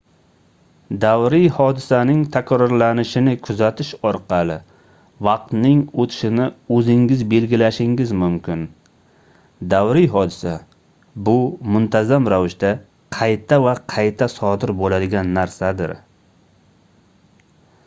davriy hodisaning takrorlanishini kuzatish orqali vaqtning oʻtishini oʻzingiz belgilashingiz mumkin davriy hodisa bu muntazam ravishda qayta va qayta sodir boʻladigan narsadir